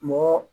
Mɔgɔ